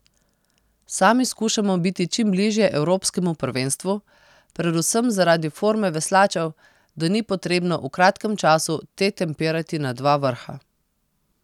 Sami skušamo biti čim bližje evropskemu prvenstvu, predvsem zaradi forme veslačev, da ni potrebno v kratkem času te tempirati na dva vrha.